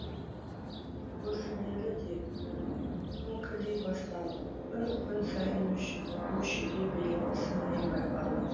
көршілері де күңкілдей бастады күн күн сайын өшіге беретін сыңайы байқалды